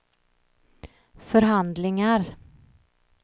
förhandlingar